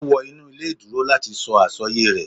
O wọ inu ile ìduro lati sọ asọye rẹ.